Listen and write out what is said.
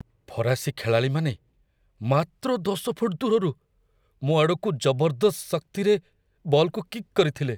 ଫରାସୀ ଖେଳାଳିମାନେ ମାତ୍ର ୧୦ ଫୁଟ ଦୂରରୁ ମୋ ଆଡ଼କୁ ଜବରଦସ୍ତ ଶକ୍ତିରେ ବଲ୍‌କୁ କିକ୍‌ କରିଥିଲେ।